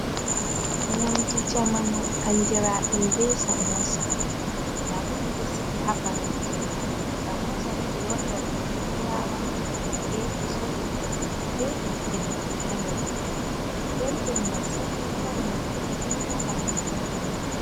Nyamdu jamanu andira ɗum be samosa nda ɗum ɓeɗo sigi ha paranti. Samosa ni ɓeɗo waɗira ɗum be fulawa, be kusel, be ɓiɓɓe leɗɗeji ha nder. Belɗum masin ɗo mari nafu masin bo ha ɓandu ɓii adamajo.